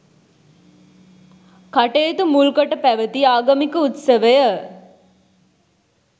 කටයුතු මුල්කොට පැවති ආගමික උත්සවය